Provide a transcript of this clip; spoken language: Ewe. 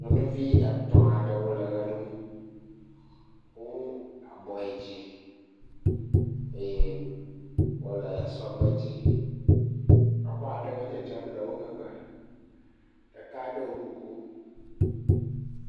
Nyɔnuvi etɔ̃ aɖewo le ʋe ɖum, wo kɔ abɔ yi dzi eye wole sɔgbe dzi, exɔaɖewo dzedzem le wo megbe, ɖeka ɖo kuku.